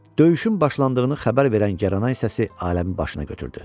Döyüşün başlandığını xəbər verən Gəraynay səsi aləmi başına götürdü.